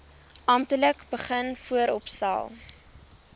amptelik begin vooropstel